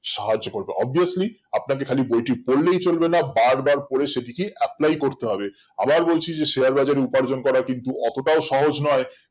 সারাজীবন obviously আপনাকে খালি বইটি পড়লেই চলবে না বার বার পরে সেটিকে apply করতে হবে আবার বলছি share বাজার এ উপার্জন করাটা কিন্তু অতটাও সহজ নয়